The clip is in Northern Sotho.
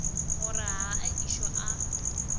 gore ga a ešo a